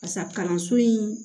Barisa kalanso in